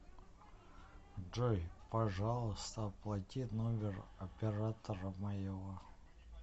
джой пожалуйста оплати номер оператора моего